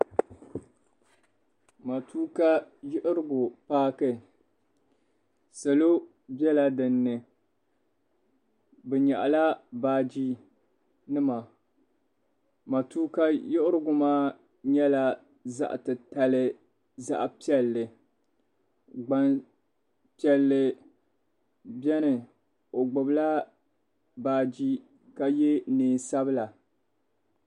Matuuka yiɣirigu paaki salo bɛla dinni bi nyɛaɣi la baaji nima matuuka yiɣirigu maa yɛla zaɣi ti tali zaɣi piɛlli gban piɛlli bɛni o gbubi la baaji ka yɛ niɛn sabila